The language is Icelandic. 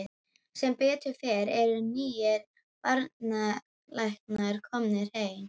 Sem betur fer eru nýir barnalæknar komnir heim.